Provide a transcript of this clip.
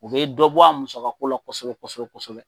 o be dɔ bɔ a musakalo la kosɛbɛ kosɛbɛ kosɛbɛ